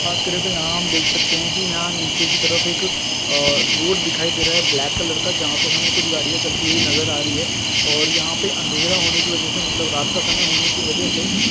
बात करे तो यहाँ हम देख सकते है कि यहाँ नीचे की तर एक अ रोड देखाई दे रहा है ब्लैक कलर का जहाँ पे हमे कुछ गाड़िया चलती हुई नजर आ रही है और यहाँ पे अंधेरा होने की वजह से मतलब रात का समय होने की वजह से